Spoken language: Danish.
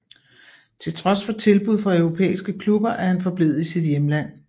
Til trods for tilbud fra europæiske klubber er han forblevet i sit hjemland